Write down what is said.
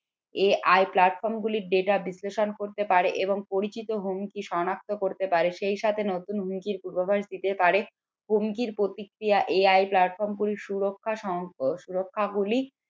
এই platform গুলির data বিশ্লেষণ করতে পারে এবং পরিচিত হুমকি সনাক্ত করতে পারে সেই সাথে নতুন হুমকির পূর্বাভাস দিতে পারে হুমকির প্রতিক্রিয়া AIplatform গুলি সুরক্ষা সুরক্ষা গুলি